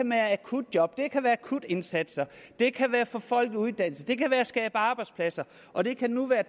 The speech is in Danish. med akutjob det kan være akutindsatser det kan være at få folk i uddannelse det kan være at skabe arbejdspladser og det kan nu være